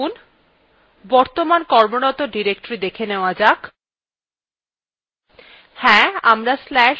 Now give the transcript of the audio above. এখন বর্তমান কর্মরত directory দেখা নেওয়া যাক